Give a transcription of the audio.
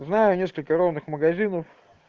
знаю несколько ровных магазинов